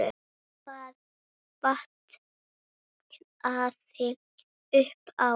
Hvað vantaði upp á?